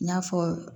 N y'a fɔ